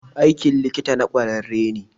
Aikin likita na kwararre ne.